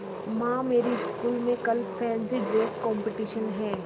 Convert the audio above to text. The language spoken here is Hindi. माँ मेरी स्कूल में कल फैंसी ड्रेस कॉम्पिटिशन है